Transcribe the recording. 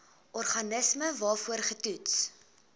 organisme waarvoor getoets